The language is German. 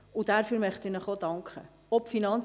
Dafür möchte ich Ihnen danken.